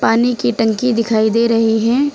पानी की टंकी दिखाई दे रही है।